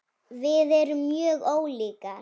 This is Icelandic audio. Við erum mjög ólíkar.